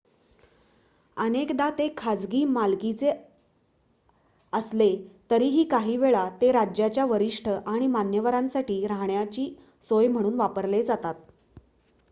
अनेकदा ते खासगी मालकीचे असले तरीही काही वेळा ते राज्याच्या वरिष्ठ आणि मान्यवरांसाठी राहण्याची सोय म्हणून वापरले जातात